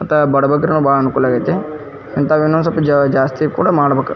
ಮತ್ತೆ ಬಡ ಬಗರ್ ಗೆ ಬಹಳ ಅನುಕೂಲ ಆಗೈತಿ ಇಂತವು ಇನ್ನೊಂದ್ ಸ್ವಲ್ಪ ಜಾಸ್ತಿ ಕೂಡ ಮಾಡಬೇಕು.